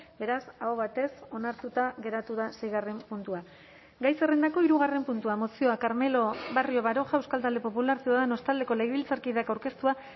beraz aho batez onartuta geratu da seigarren puntua gai zerrendako hirugarren puntua mozioa carmelo barrio baroja euskal talde popularra ciudadanos taldeko legebiltzarkideak aurkeztua